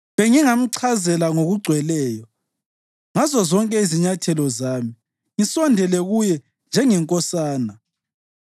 Bengingamchazela ngokugcweleyo ngazozonke izinyathelo zami; ngisondele kuye njengenkosana.)